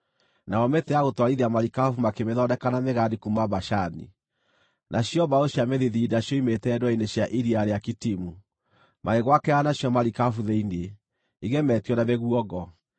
Nayo mĩtĩ ya gũtwarithia marikabu makĩmĩthondeka na mĩgandi kuuma Bashani; nacio mbaũ cia mĩthithinda cioimĩte ndwere-inĩ cia iria rĩa Kitimu, magĩgwakĩra nacio marikabu thĩinĩ, igemetio na mĩguongo.